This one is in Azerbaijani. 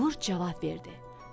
Qurd cavab verdi.